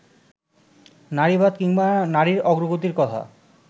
নারীবাদ কিংবা নারীর অগ্রগতির কথা